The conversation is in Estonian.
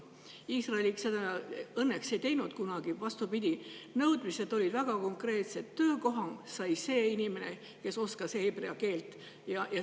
Iisrael seda õnneks kunagi ei teinud, vastupidi, nõudmised olid väga konkreetsed: töökoha sai see inimene, kes oskas heebrea keelt.